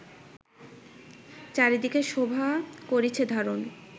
চারিদিকে শোভা করিছে ধারণ